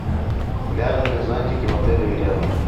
пляжные зонтики в отеле и рядом